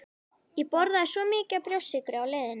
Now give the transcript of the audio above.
Ég borðaði svo mikið af brjóstsykri á leiðinni